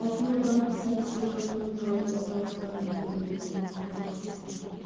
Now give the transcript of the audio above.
алтын орданың саяси экономикалық орталықтарының бірі болған қала қасым ханның